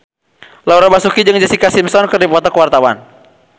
Laura Basuki jeung Jessica Simpson keur dipoto ku wartawan